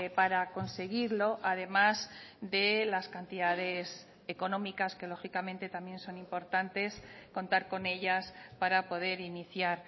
para conseguirlo además de las cantidades económicas que lógicamente también son importantes contar con ellas para poder iniciar